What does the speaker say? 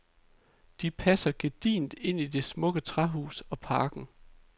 De passer gedigent ind i det smukke træhus og parken.